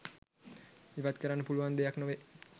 ඉවත් කරන්න පුළුවන් දෙයක් නොවේ.